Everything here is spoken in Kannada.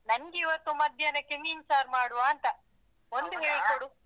ನಂಗೆ ಇವತ್ತು ಮಧ್ಯಾಹ್ನಕ್ಕೆ ಮೀನ್ ಸಾರ್ ಮಾಡುವಾ ಅಂತ ಹೇಳ್ಕೊಡು.